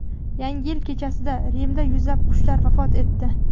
Yangi yil kechasida Rimda yuzlab qushlar vafot etdi.